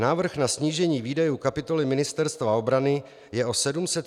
Návrh na snížení výdajů kapitoly Ministerstva obrany je o 731 mil. nižší.